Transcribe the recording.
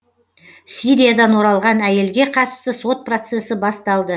сириядан оралған әйелге қатысты сот процесі басталды